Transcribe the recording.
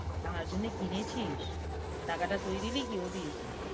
তার জন্যে কিনেছিস? টাকাটা তুই দিলি কি ও দিয়েছে?